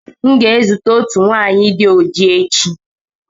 M ga-ezute naanị otu nwanyị agba ọchịchịrị echi.